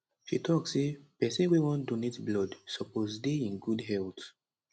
she tok say pesin wey wan donate blood suppose dey in good health